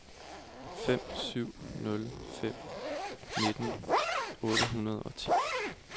fem syv nul fem nitten otte hundrede og ti